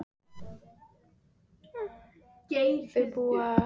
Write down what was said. Þau búa á Seltjarnarnesi og eiga tvo syni.